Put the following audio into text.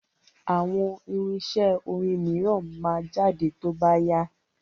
Àwọn irinṣẹ́ orin mìíràn máa jáde tó bá yá.